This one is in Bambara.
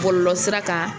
Bɔlɔlɔsira kan